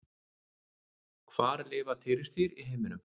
Hvar lifa tígrisdýr í heiminum?